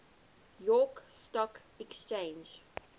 york stock exchange